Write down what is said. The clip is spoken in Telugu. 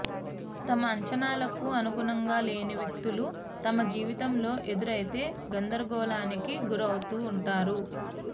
తమ అంచనాలకు అనుగుణంగాలేని వ్యక్తులు తమ జీవితంలో ఎదురైతే గందరగోళానికి గురవుతూ ఉంటారు